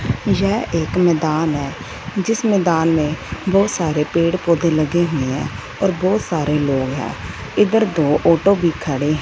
यह एक मैंदान है जिसमें मैदान में बहुत सारे पेड़ पौधे लगे हुए हैं और बहुत सारे लोग हैं इधर दो ऑटो भी खड़े--